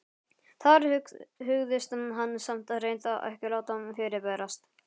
Þar hugðist hann samt hreint ekki láta fyrirberast.